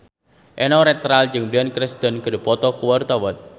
Eno Netral jeung Bryan Cranston keur dipoto ku wartawan